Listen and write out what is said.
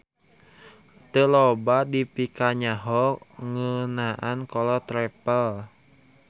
Teu loba dipikanyaho ngeunaan kolot Raffles.